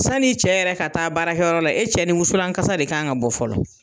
San'i cɛ yɛrɛ ka taa baarakɛyɔrɔ la e cɛ ni musulan kasa de kan ka bɔ fɔlɔ.